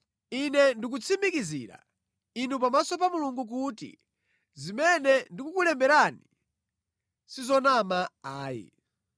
Ine ndikutsimikizira inu pamaso pa Mulungu kuti zimene ndikukulemberani si zonama ayi.